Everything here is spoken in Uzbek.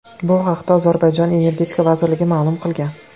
Bu haqda Ozarbayjon Energetika vazirligi ma’lum qilgan .